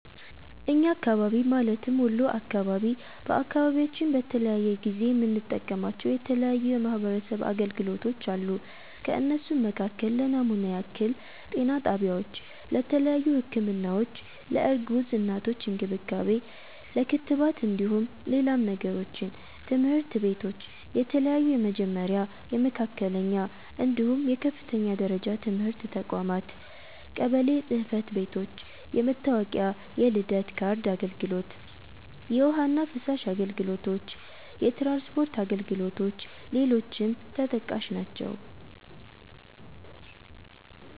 እኛ አካባቢ ማለትም ወሎ አካባቢ፤ በአካባቢያችን በተለያየ ጊዜ የምንጠቀማቸው የተለያዩ የማሕበረሰብ አገልግሎቶች አሉ። ከእነሱም መካከል ለናሙና ያክል - ጤና ጣቢያዎች:- ለተያዩ ህክምናዎች፣ ለእርጉዝ እናቶች እንክብካቤ፣ ለክትባት እንደሁም ሌላም ነገሮችን - ትምህርት ቤቶች :- የተለያዩ የመጀመሪያ፣ የመካከለኛ፣ እንድሁም የከፍተኛ ደረጃ ትምህርት ተቋማት - ቀበሎ ጽህፈት ቤቶች- የመታወቂያ፣ የልደት ካርድ አገልግሎት - የውሀ እና ፍሳሽ አገልግሎቶች - የትራንስፖርት አገልግሎ ሌሎችም ተጠቃሽ ናቸው።